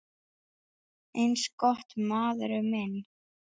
Eins gott, maður minn